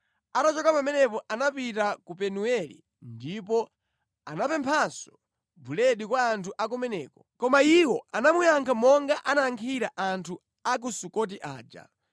Atachoka pamenepo anapita ku Penueli ndipo anapemphanso buledi kwa anthu a kumeneko, koma iwo anamuyankha monga anayankhira anthu a ku Sukoti aja.